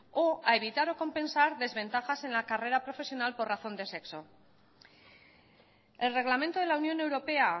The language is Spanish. o a evitar o compensar desventajas en la carrera profesional por razón de sexo el reglamento de la unión europea